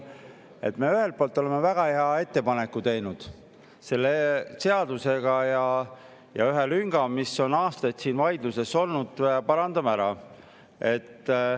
Me oleme teinud ühest küljest väga hea ettepaneku ja selle seadusega me parandame ära ühe lünga, mille üle on aastaid käinud vaidlus.